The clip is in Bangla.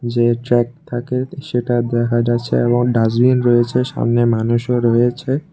যে ট্র্যাক থাকে সেটা দেখা যাছে এবং ডাস্টবিন রয়েছে সামনে মানুষও রয়েছে।